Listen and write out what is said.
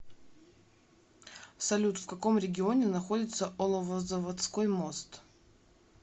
салют в каком регионе находится оловозаводской мост